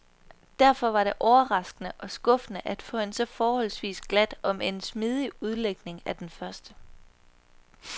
Derfor var det overraskende og skuffende at få en så forholdsvis glat omend smidig udlægning af den første.